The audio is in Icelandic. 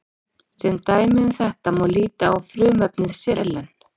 sem dæmi um þetta má líta á frumefni selen